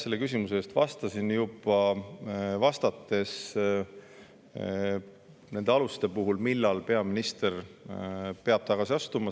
Ma tegelikult vastasin juba sellele, vastates nende aluste kohta, millal peaminister peab tagasi astuma.